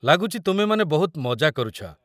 ଲାଗୁଛି ତୁମେମାନେ ବହୁତ ମଜା କରୁଛ ।